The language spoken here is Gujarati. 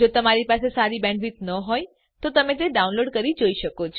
જો તમારી બેન્ડવિડ્થ સારી ન હોય તો તમે ડાઉનલોડ કરી તે જોઈ શકો છો